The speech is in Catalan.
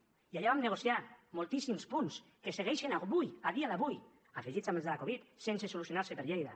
i allà vam negociar moltíssims punts que segueixen avui a dia d’avui afegits amb els de la covid sense solucionar se per lleida